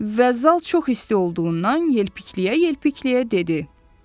Və zal çox isti olduğundan yelpikliyə-yelpikliyə dedi: